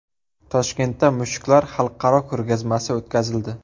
Toshkentda mushuklar xalqaro ko‘rgazmasi o‘tkazildi .